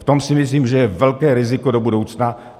V tom si myslím, že je velké riziko do budoucna.